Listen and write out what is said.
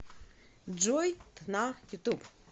джой дна ютуб